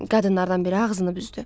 Qadınlardan biri ağzını büzdü.